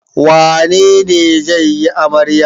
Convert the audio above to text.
Wane ne zai yi amarya?